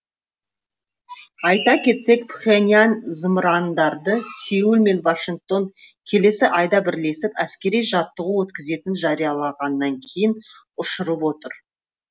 айта кетсек пхеньян зымырандарды сеул мен вашингтон келесі айда бірлесіп әскери жаттығу өткізетінін жариялағаннан кейін ұшырып отыр